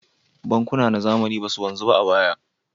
Bankuna na zamani ba su wanzu ba a baya.